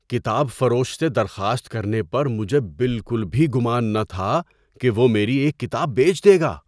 کتاب فروش سے درخواست کرنے پر مجھے بالکل بھی گمان نہ تھا کہ وہ میری ایک کتاب بیچ دے گا!